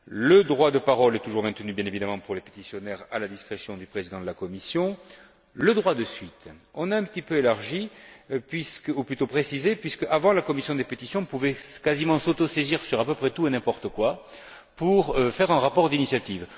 Le droit de parole est toujours maintenu, bien évidemment, pour les pétitionnaires, à la discrétion du président de la commission. Quant au droit de suite, nous l'avons un petit peu élargi ou plutôt précisé puisqu'auparavant, la commission des pétitions pouvait quasiment s'autosaisir sur à peu près tout et n'importe quoi pour l'élaboration d'un rapport d'initiative.